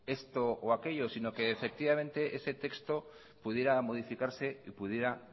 esto o aquello sino que ese texto pudiera modificarse y pudiera